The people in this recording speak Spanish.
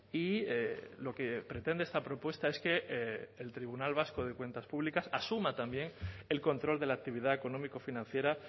y lo que pretende esta propuesta es que el tribunal vasco de cuentas públicas asuma también el control de la actividad económico financiera